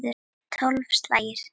Tólf slagir.